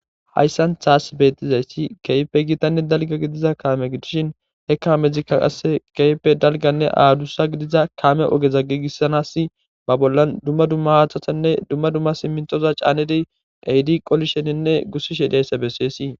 Hayssan tassi bettizayssi keehippe giitanne dalgga gidiza kaame gidishin he kaamezikka qase keehippe dalgganne aadussa gidiza kaame ogeza giigissanass ba bollan dumma dumma haathatanne dumma dumma simmintoza caanedi ehidi qolisheninne gussishshe de'iyass beseesii